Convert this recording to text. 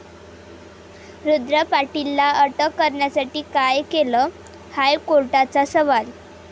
रुद्र पाटीलला अटक करण्यासाठी काय केलं?, हायकोर्टाचा सवाल